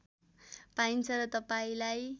पाइन्छ र तपाईँलाई